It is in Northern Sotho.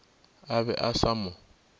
a be a sa mo